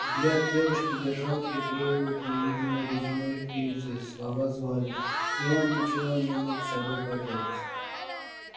взгляд девушки держал приклеивал к невидимой резиновой привязи слова звали и он ничего не мог с собой поделать